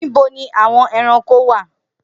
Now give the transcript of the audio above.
Nibo ni awọn ẹranko wa?